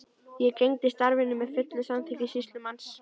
Ég gegndi starfinu með fullu samþykki sýslumanns.